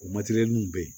O materɛliw bɛ yen